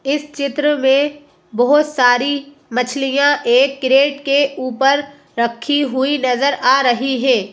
इस चित्र में बहोत सारी मछलियां एक केरट के ऊपर रखी हुई नजर आ रही है।